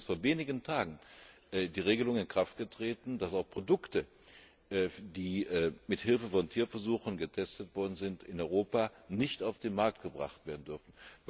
Vor wenigen Tagen ist übrigens die Regelung in Kraft getreten, dass Produkte, die mithilfe von Tierversuchen getestet worden sind, in Europa nicht auf den Markt gebracht werden dürfen.